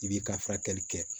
I b'i ka furakɛli kɛ